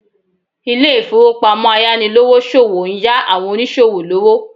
Ilé ìfowópamọ́ ayánilówóṣòwó ń yá àwọn oníṣòwò lówó